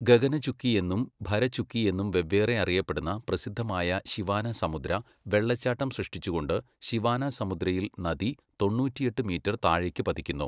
ഗഗനചുക്കി എന്നും ഭരചുക്കി എന്നും വെവ്വേറെ അറിയപ്പെടുന്ന പ്രസിദ്ധമായ ശിവാനസമുദ്ര വെള്ളച്ചാട്ടം സൃഷ്ടിച്ചുകൊണ്ട്, ശിവാനസമുദ്രയിൽ നദി തൊണ്ണൂറ്റിയെട്ട് മീറ്റർ താഴേക്ക് പതിക്കുന്നു.